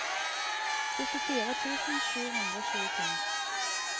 syttifire tusen sju hundre og tjuefem